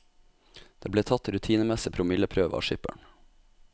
Det ble tatt rutinemessig promilleprøve av skipperen.